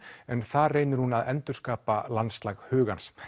en þar reynir hún að endurskapa landslag hugans